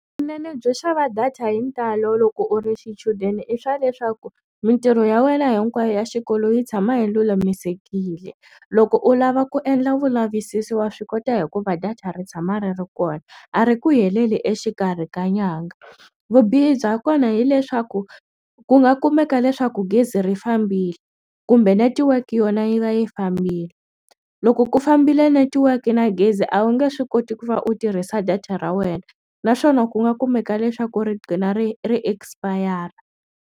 Vunene byo xava data hi ntalo loko u ri xichudeni i swa leswaku mintirho ya wena hinkwayo ya xikolo yi tshama yi lulamisekile loko u lava ku endla vulavisisi wa swi kota hikuva data ri tshama ri ri kona a ri ku heleli exikarhi ka nyanga vubihi bya kona hileswaku ku nga kumeka leswaku gezi ri fambile kumbe netiweke yona yi va yi fambile loko ku fambile netiweke na gezi a wu nge swi koti ku va u tirhisa data ra wena naswona ku nga kumeka leswaku ri qgina ri ri expire.